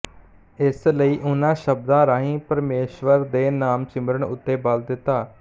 ਇਸ ਲਈ ਉਹਨਾਂ ਸ਼ਬਦਾਂ ਰਾਹੀ ਪ੍ਮੇਸ਼ਵਰ ਦੇ ਨਾਮ ਸਿਮਰਨ ਉੱਤੇ ਬਲ ਦਿੱਤਾ